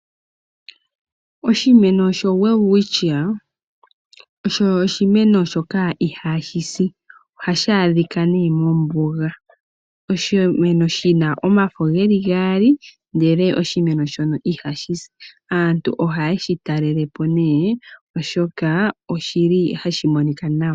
Oshimeno shoWelwitchia osho oshimeno shoka ihashi si. Ohashi adhika nee mombuga. Oshimeno shi na omafo ge li gaali, ndele oshimeno shono ihashi si. Aantu ohaye shi talelepo ne, oshoka oshi li hashi monika nawa.